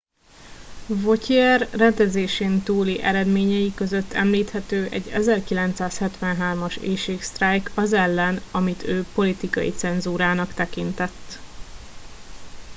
vautier rendezésen túli eredményei között említhető egy 1973 as éhségsztrájk az ellen amit ő politikai cenzúrának tekintett